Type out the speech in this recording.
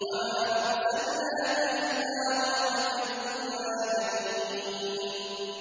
وَمَا أَرْسَلْنَاكَ إِلَّا رَحْمَةً لِّلْعَالَمِينَ